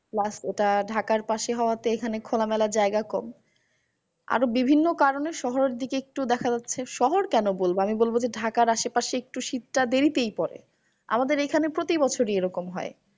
Plus ওটা ঢাকার পাশে হওয়া তে এখানে খোলামেলা জায়গা কম। আরো বিভিন্ন কারণে শহরের দিকে একটু দেখা যাচ্ছে, শহর কেন বলবো? আমি বলবো যে, ঢাকার আশেপাশে একটু শীত টা দেরিতেই পরে। আমাদের এইখানে প্রতি বছরই এইরকম হয়।